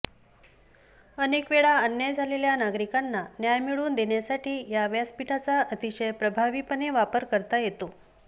अनेक वेळा अन्याय झालेल्या नागरिकांना न्याय मिळवून देण्यासाठी या व्यासपीठाचा अतिशय प्रभावीपणे वापर करता येतो